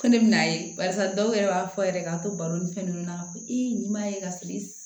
Ko ne bɛ n'a ye barisa dɔw yɛrɛ b'a fɔ yɛrɛ k'a to baro ni fɛn nunnu na i m'a ye ka se